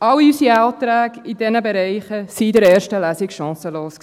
All unsere Anträge in diesen Bereichen waren in der ersten Lesung chancenlos.